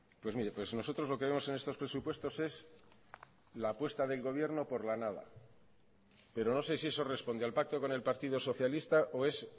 pues mire pues nosotros lo que vemos en estos presupuestos es la apuesta del gobierno por la nada pero no sé si eso responde al pacto con el partido socialista o es